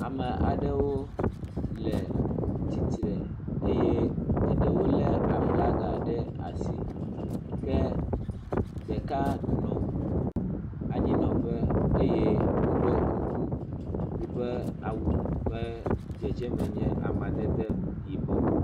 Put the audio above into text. ame aɖewo le titre eye eɖewo le.aflaga ɖe asi ke ɖeka nɔ anyinɔƒe eye wóɖɔ kuku yiƒe awu ƒe dzedzeme nye amadede yibɔ